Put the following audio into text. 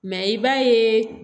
Mɛ i b'a ye